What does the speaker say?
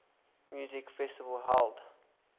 music festival held